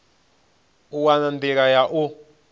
u wana nḓila ya u